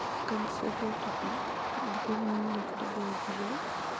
и в конце был тупик где некуда было бежать